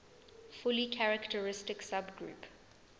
fully characteristic subgroup